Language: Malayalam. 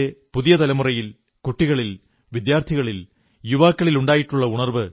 രാജ്യത്തെ പുതിയ തലമുറയിൽ കുട്ടികളിൽ വിദ്യാർഥികളിൽ യുവാക്കളിൽ ഉണ്ടായിട്ടുള്ള ഉണർവ്